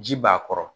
Ji b'a kɔrɔ